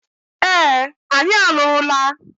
Ee, anyị alụrụla.